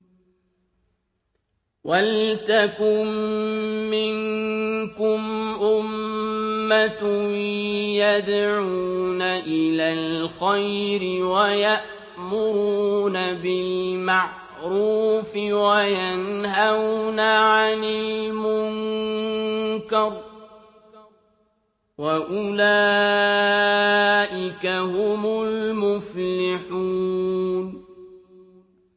وَلْتَكُن مِّنكُمْ أُمَّةٌ يَدْعُونَ إِلَى الْخَيْرِ وَيَأْمُرُونَ بِالْمَعْرُوفِ وَيَنْهَوْنَ عَنِ الْمُنكَرِ ۚ وَأُولَٰئِكَ هُمُ الْمُفْلِحُونَ